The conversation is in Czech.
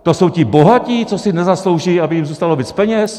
To jsou ti bohatí, co si nezaslouží, aby jim zůstalo víc peněz?